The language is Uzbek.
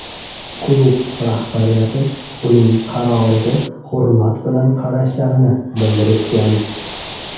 Klub rahbariyati uning qaroriga hurmat bilan qarashlarini bildirishgan.